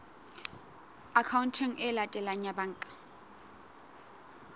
akhaonteng e latelang ya banka